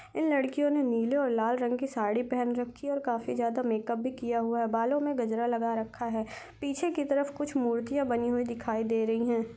इन लड़कियों ने नीले और लाल रंग की साडी पहन रखी है और काफी ज्यादा मेक अप किया हुआ है बालो में गजरा लगा रखा है पीछे की तरफ मूर्तिया बनी हुई दिखाई दे रही हैं।